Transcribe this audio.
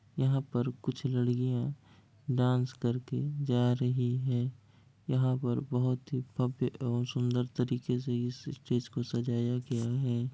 यहा पर कुछ लड़कियां डांस कर के जा रही है यहा पर बहुत ही भव्य और सुंदर तरीके से इस स्टेज को सजाया गया है।